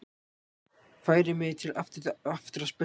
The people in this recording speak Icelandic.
Færi mig aftur að speglinum.